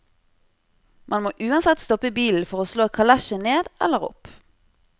Man må uansett stoppe bilen for å slå kalesjen ned eller opp.